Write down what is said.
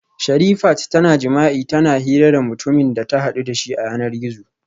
Sherifat tana jima'i tana hira da mutumin da ta hadu dashi a yanar gizo